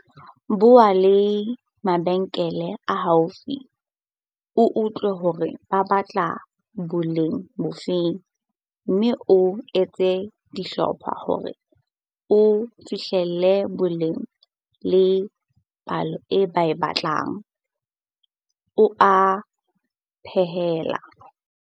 Bua le mabenkele a haufi o utlwe hore ba batla boleng bofe mme o etse dihlopha hore o fihlelle boleng le palo e ba e batlang, o a phaella.